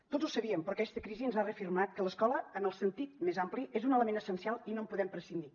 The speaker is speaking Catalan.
tots ho sabíem però aquesta crisi ens ha reafirmat que l’escola en el sentit més ampli és un element essencial i no en podem prescindir